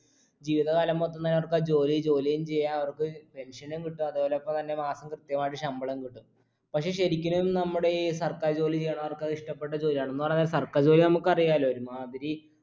ജീവിത കാലം മൊത്തം നിലനിർത്താൻ ജോലി ജോലീം ചെയ്യാ അവർക്ക് pension ഉം കിട്ടും അതോടൊപ്പം തന്നെ മാസം കൃത്യമായിട്ട് ശമ്പളം കിട്ടും പക്ഷേ ശരിക്കിലും നമ്മടെ ഈ സർക്കാർ ജോലി ചെയ്യണവർക്ക് അത് ഇഷ്ട്ടപ്പെട്ട ജോലിയാണ് എന്ന് പറഞ്ഞാ സർക്കാർ ജോലി നമുക്കറിയാല്ലോ ഒരു മാതിരി